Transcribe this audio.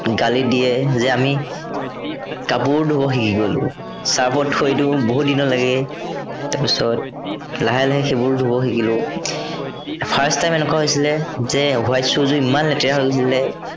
গালি দিয়ে যে আমি কাপোৰো ধুব শিকি গ'লো। চাৰ্ফত থৈ দিও বহুদিনলৈকে, তাৰপিছত, লাহে লাহে সেইবোৰ ধুৱ শিকিলো। first time এনেকুৱা হৈছিলে যে white shoe যোৰ ইমান লেতেৰা হৈ গৈছিলে